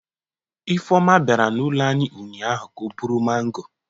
Ifeoma bia n'ulo anyi ụnyaahụ ka o buru maango